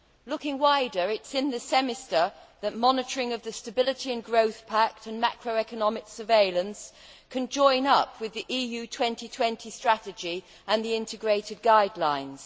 Looking wider, it is in the Semester that monitoring of the Stability and Growth Pact and macroeconomic surveillance can join up with the Europe 2020 Strategy and the Integrated Guidelines.